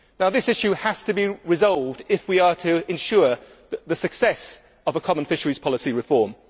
This issue has to be resolved if we are to ensure the success of a common fisheries policy reform.